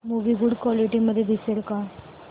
movie good quality मध्ये दिसेल का